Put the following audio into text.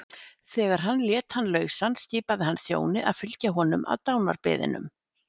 Þegar hann lét hann lausan skipaði hann þjóni að fylgja honum að dánarbeðinum.